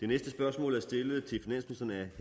mit spørgsmål